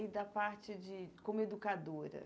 E da parte de como educadora?